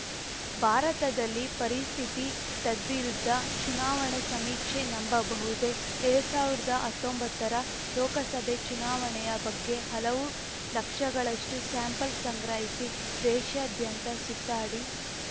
ಭಾರತದಲ್ಲಿ ಪರಿಸ್ಥಿತಿ ತದ್ವಿರುದ್ಧ ಚುನಾವಣಾ ಸಮೀಕ್ಷೆ ನಂಬಬಹುದೇ ಎರಡ್ ಸಾವಿರ್ದಾ ಹತ್ತೊಂಬತ್ತರ ಲೋಕಸಭೆ ಚುನಾವಣೆಯ ಬಗ್ಗೆ ಹಲವು ಲಕ್ಷಗಳಷ್ಟುಸ್ಯಾಂಪಲ್‌ ಸಂಗ್ರಹಿಸಿ ದೇಶಾದ್ಯಂತ ಸುತ್ತಾಡಿ